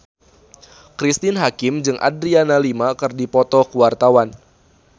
Cristine Hakim jeung Adriana Lima keur dipoto ku wartawan